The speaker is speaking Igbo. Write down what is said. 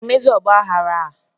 A ga-emezi ọgbaghara a?